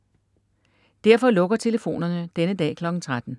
Derfor lukker telefonerne denne dag kl. 13.